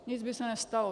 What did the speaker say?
Nic by se nestalo.